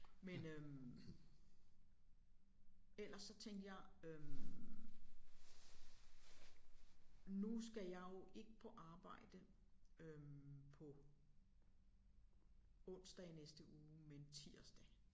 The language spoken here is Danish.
Men øh ellers så tænkte jeg øh nu skal jeg jo ikke på arbejde øh på onsdag i næste uge men tirsdag